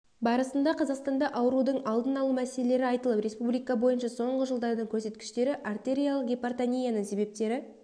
барысында қазақстанда аурудың алдын алу мәселелері айтылып республика бойынша соңғы жылдардың көрсеткіштері артериалық гипертонияның себептері